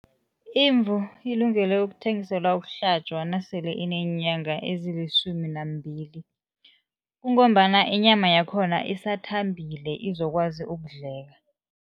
Imvu ilungele ukuthengiselwa ukuhlatjwa nasele ineenyanga ezilisumi nambili, kungombana inyama yakhona isathambile izokwazi ukudleka.